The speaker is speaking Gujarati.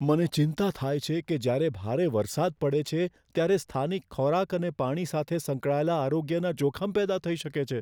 મને ચિંતા થાય છે કે જ્યારે ભારે વરસાદ પડે છે ત્યારે સ્થાનિક ખોરાક અને પાણી સાથે સંકળાયેલા આરોગ્યને જોખમ પેદા થઈ શકે છે.